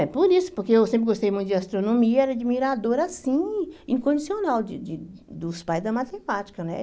É, por isso, porque eu sempre gostei muito de astronomia, era admiradora, assim, incondicional, de de dos pais da matemática, né?